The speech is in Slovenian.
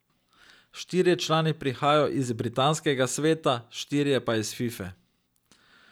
Štirje člani prihajajo iz britanskega sveta, štirje pa iz Fife.